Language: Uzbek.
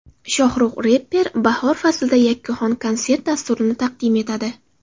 Shohrux reper bahor faslida yakkaxon konsert dasturini taqdim etadi.